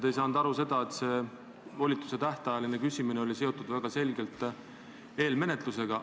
Te ei saanud aru sellest, et see volituse tähtajaline küsimine oli väga selgelt seotud eelmenetlusega.